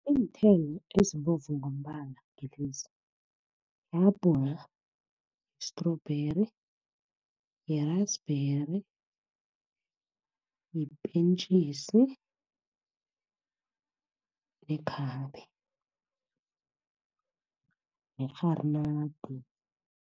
Iinthelo ezibovu ngombala ngilezi, ihabhula, i-strawberry, yi-raspberry, yipentjisi, ikhambe nekgharinada.